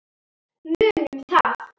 Munum það.